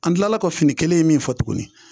An tilala ka fini kelen in min fɔ tuguni